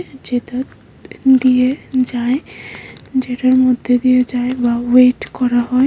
যেতার দিয়ে যায় যেটার মধ্যে দিয়ে যায় বা ওয়েট করা হয়।